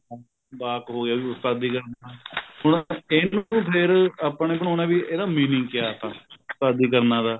ਵਾਕ ਹੋ ਗਿਆ ਵੀ ਉਸਤਾਦੀ ਕਰਨਾ ਹੁਣ ਇਹਨੂੰ ਫ਼ੇਰ ਆਪਾਂ ਨੇ ਬਣਾਉਣਾ ਵੀ ਇਹਦਾ meaning ਕਿਆ ਤਾ ਉਸਤਾਦੀ ਕਰਨਾ ਦਾ